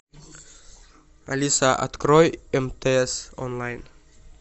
алиса открой мтс онлайн